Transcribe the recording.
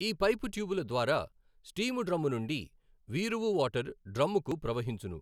ఈ పైపు ట్యుబుల ద్వారా స్టీము డ్రమ్మునుండి వీఋఊ వాటరు డ్రమ్ముకు ప్రవహించును.